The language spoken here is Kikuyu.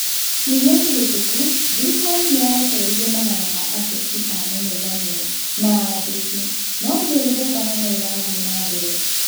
Kiumĩa kĩhĩtũku thirikari nĩyarekereirie magana ma ateti a mũng'ethanĩro na andĩkĩ no mĩrũrũngano no ĩrathire na mbere